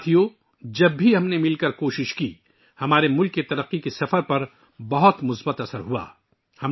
دوستو، جب بھی ہم نے مل کر کوششیں کیں، اس کا ہمارے ملک کی ترقی کے سفر پر بہت مثبت اثر پڑا ہے